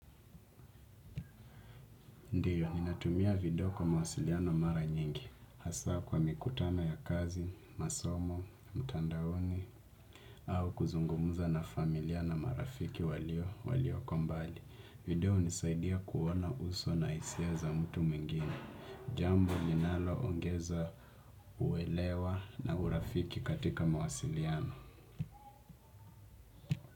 Ndiyo, ninatumia video kwa mawasiliano mara nyingi. Hasa kwa mikutano ya kazi, masomo, mtandaoni au kuzungumuza na familia na marafiki walio, walioko mbali. Video hunisaidia kuona uso na hisia za mtu mwingine. Jambo ninaloongeza uelewa na urafiki katika mawasiliano.